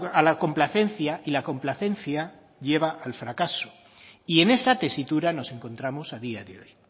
a la complacencia y la complacencia lleva al fracaso y en esa tesitura nos encontramos a día de hoy